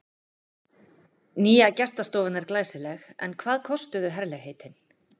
Nýja gestastofan er glæsileg en hvað kostuðu herlegheitin?